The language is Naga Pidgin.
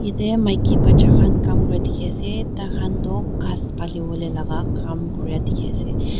te maki bacha khan Kam Kura dikhiase taikhan toh ghas paliwolae laka Kam Kura dikhiase.